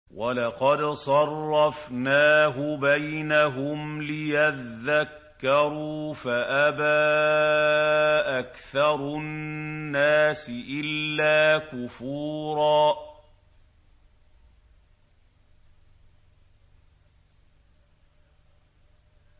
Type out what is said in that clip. وَلَقَدْ صَرَّفْنَاهُ بَيْنَهُمْ لِيَذَّكَّرُوا فَأَبَىٰ أَكْثَرُ النَّاسِ إِلَّا كُفُورًا